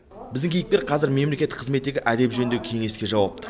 біздің кейіпкер қазір мелмекеттік қызметтегі әдеп жөніндегі кеңеске жауапты